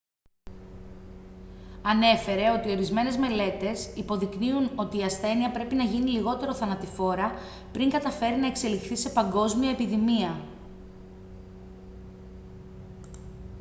ανέφερε ότι ορισμένες μελέτες υποδεικνύουν ότι η ασθένεια πρέπει να γίνει λιγότερο θανατηφόρα πριν καταφέρει να εξελιχθεί σε παγκόσμια επιδημία